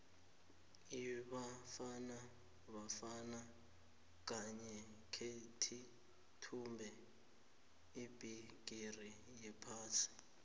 ibafana bafana khange kheyithumbe ibhigiri yephasi